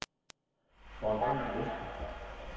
Bornholm Vestre